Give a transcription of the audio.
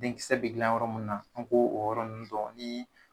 Denkisɛ bɛ yɔrɔ mun na, an ko o yɔrɔ nunnu dɔn ni